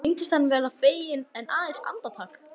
Henni sýndist hann verða feginn en aðeins andartak.